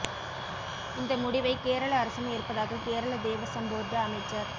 இந்த முடிவை கேரள அரசும் ஏற்பதாக கேரள தேவசம் போர்டு அமைச்சர்